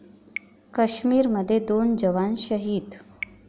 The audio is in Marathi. काश्मीरमध्ये दोन जवान शहीद